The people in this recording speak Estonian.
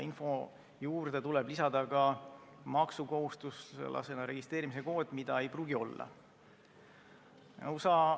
Info juurde tuleb lisada maksukohustuslasena registreerimise kood, mida ei pruugi aga olla.